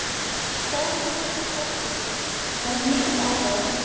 Þórhildur Þorkelsdóttir: Var mikill áhugi á þessu?